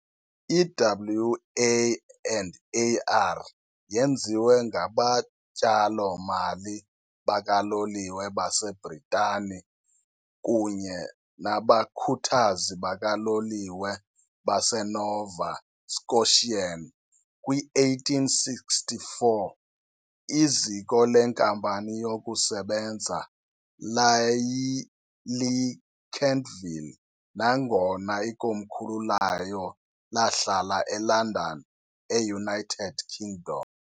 I-WA and, AR yenziwe ngabatyalo-mali bakaloliwe baseBrithani kunye nabakhuthazi bakaloliwe baseNova Scotian kwi-1864. Iziko lenkampani yokusebenza laliyiKentville nangona ikomkhulu layo lahlala eLondon, eUnited Kingdom.